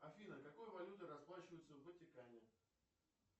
афина какой валютой расплачиваются в ватикане